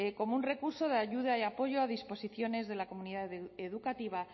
como un recurso de ayuda y apoyo a disposición de la comunidad educativa